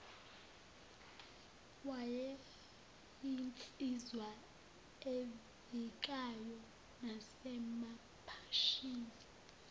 wayeyinsizwa evikayo nasemaphashini